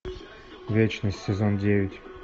вечность сезон девять